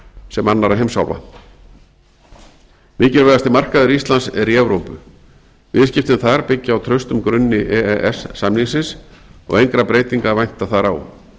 sem annarra heimsálfa mikilvægasti markaður íslands er í evrópu viðskiptin þar byggja á traustum grunni e e s samningsins og engra breytinga að vænta þar á